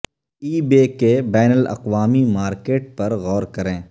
ای بے کے بین الاقوامی مارکیٹ پر غور کریں